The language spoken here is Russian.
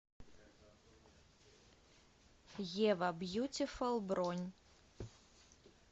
ева бьютифул бронь